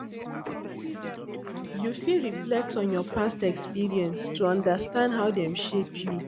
You fit reflect on your past experience to understand how dem shape you.